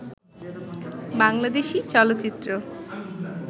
বাংলাদেশী চলচ্চিত্র